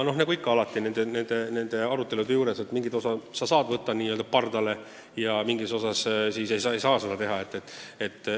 Nagu alati selliste arutelude puhul, mingid ettepanekud saab n-ö pardale võtta ja mingeid ei saa.